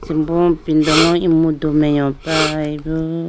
asimbo ipindolo emudu mai yoprayi bo.